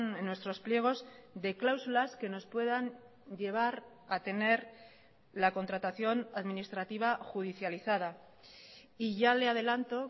en nuestros pliegos de cláusulas que nos puedan llevar a tener la contratación administrativa judicializada y ya le adelanto